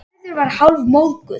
Gerður var hálfmóðguð.